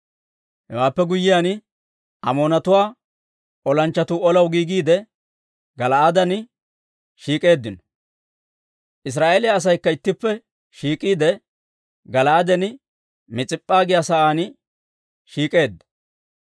Hewaappe guyyiyaan, Amoonatuwaa olanchchatuu olaw giigiide, Gala'aaden shiik'k'eeddino; Israa'eeliyaa asaykka ittippe shiik'iide, Gala'aaden Mis'ip'p'a giyaa saan shiik'k'eedda.